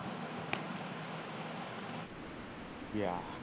yeah